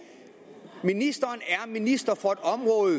ministeren er minister